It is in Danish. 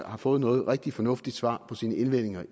har fået noget rigtig fornuftigt svar på sine indvendinger